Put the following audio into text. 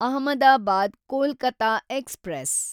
Ahmedabad Kolkata express